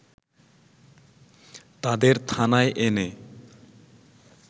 তাদের থানায় এনে